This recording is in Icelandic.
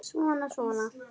Svona, svona